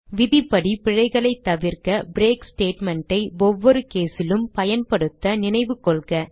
விதிப்படி பிழைகளைத் தவிர்க்க பிரேக் statement ஐ ஒவ்வொரு case லும் பயன்படுத்த நினைவுகொள்க